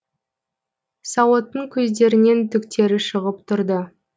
сауыттың көздерінен түктері шығып тұрды